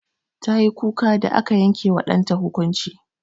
Tayi kuka da aka yanke wa ɗanta hukunci.